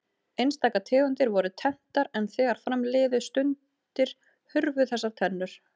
Einstaka tegundir voru tenntar en þegar fram liðu stundir hurfu þessar tennur.